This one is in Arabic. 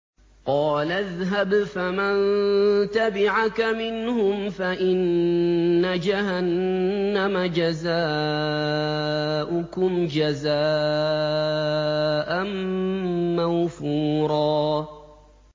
قَالَ اذْهَبْ فَمَن تَبِعَكَ مِنْهُمْ فَإِنَّ جَهَنَّمَ جَزَاؤُكُمْ جَزَاءً مَّوْفُورًا